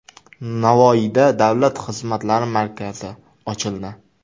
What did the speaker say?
Navoiyda Davlat xizmatlari markazi ochildi.